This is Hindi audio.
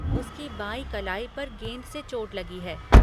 उसकी बाईं कलाई पर गेंद से चोट लगी है।